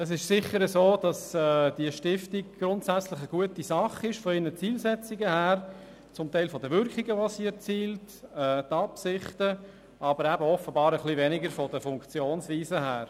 Es ist sicher so, dass die Stiftung grundsätzlich aus Sicht ihrer Zielsetzungen, zum Teil ihrer erzielten Wirkungen oder ihrer Absichten, eine gute Sache ist, aber offenbar eher weniger gut aus Sicht der Funktionsweise ist.